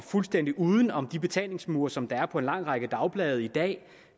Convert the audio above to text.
fuldstændig uden om de betalingsmure som der er på en lang række dagblade i dag